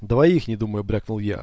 двоих не думая брякнул я